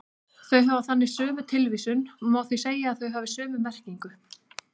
Þau hafa þannig sömu tilvísun og má því segja að þau hafi sömu merkingu.